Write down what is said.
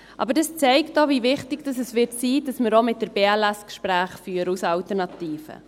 Aber das zeigt auch, wie wichtig es sein wird, dass wir auch mit der BLS das Gespräch führen als Alternative.